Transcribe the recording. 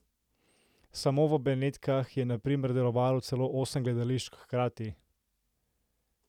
Samo v Benetkah je na primer delovalo celo osem gledališč hkrati!